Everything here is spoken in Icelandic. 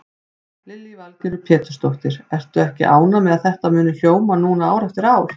Lillý Valgerður Pétursdóttir: Ertu ekki ánægð með að þetta muni hljóma núna ár eftir ár?